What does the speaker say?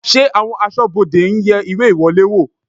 Ṣé àwọn aṣọ́bodè ń yẹ ìwé ìwọlé wò?